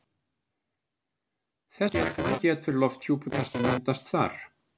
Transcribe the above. Þess vegna getur lofthjúpur ekki myndast þar.